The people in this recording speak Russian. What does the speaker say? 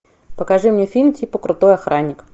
покажи мне фильм типа крутой охранник